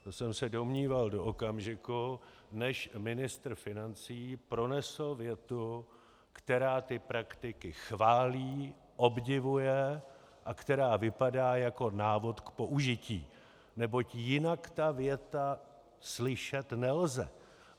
To jsem se domníval do okamžiku, než ministr financí pronesl větu, která tyto praktiky chválí, obdivuje a která vypadá jako návod k použití, neboť jinak tu větu slyšet nelze.